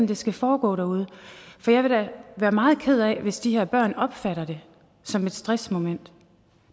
det skal foregå derude for jeg vil da være meget ked af hvis de her børn opfatter det som et stressmoment